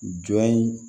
Jɔn ye